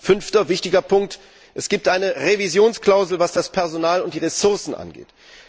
Fünfter wichtiger Punkt Es gibt eine Revisionsklausel, was das Personal und die Ressourcen angeht.